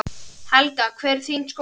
Helga: Hver er þín skoðun?